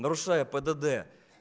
нарушая пдд